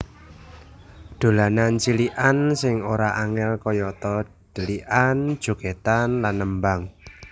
Dolanan cilikan sing ora angel kayata dhelikan jogedan lan nembang